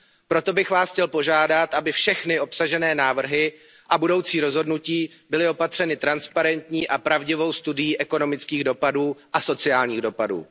Proto bys vás chtěl požádat, aby všechny obsažené návrhy a budoucí rozhodnutí byly opatřeny transparentní a pravdivou studií ekonomických a sociálních dopadů.